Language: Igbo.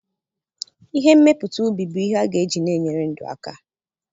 Ihe mmepụta ubi bu ihe aga eji na-enyere ndụ aka.